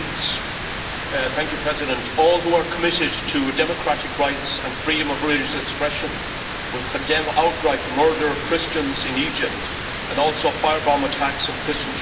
Mr President, all who are committed to democratic rights and freedom of religious expression will condemn outright the murder of Christians in Egypt and also the firebomb attacks on Christian churches in Malaysia.